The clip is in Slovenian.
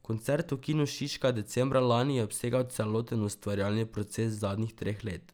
Koncert v Kinu Šiška decembra lani je obsegal celoten ustvarjalni proces zadnjih treh let.